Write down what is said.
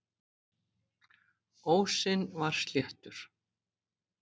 Ósinn var sléttur.